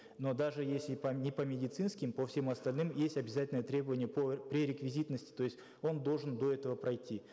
но даже если не по медицинским по всем остальным есть обязательное требование по пререквизитности то есть он должен до этого пройти